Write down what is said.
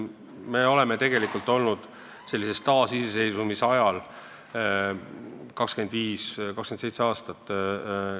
Me oleme olnud taas iseseisvad alles 27 aastat.